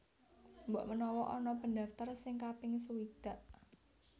Mbok menawa ana pendaftar sing kaping sewidak